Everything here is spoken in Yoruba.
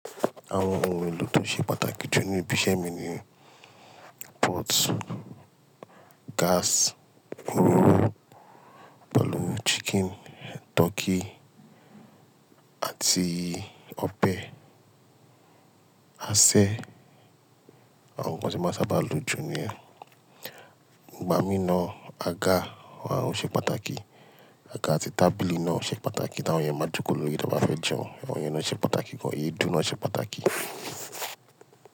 Àwọn ohun èlò tó ṣe pàtàkì jù nínú ibi iṣẹ́ mi ni pot, gas, òróró, pelúù chicken, turkey àti ọ̀bẹ. Aṣẹ, àwọn nnkan tó máa ń sábà lo jù ni ẹ̀. Ìgbà mí náà, àga àwọn ohun ṣe pàtàkì. Àga àti tábìlì náà ṣe pàtàkì, táwọn ènìyàn máa ń jókòó lórí i tí wọ́n bá fẹ́ jẹun. Àwọn ènìyàn náà ṣe pàtàkì gan. Èédú náà ṣe pàtàkì.